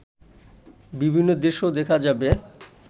বিভিন্ন দেশেও দেখা যাবে